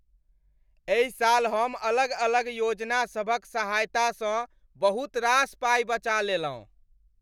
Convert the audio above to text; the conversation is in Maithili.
एहि साल हम अलग अलग योजना सभक सहायतासँ बहुत रास पाइ बचा लेलहुँ।